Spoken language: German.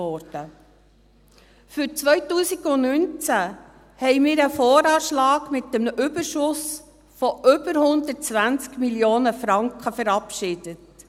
Für 2019 haben wir einen Voranschlag mit einem Überschuss von über 120 Mio. Franken verabschiedet.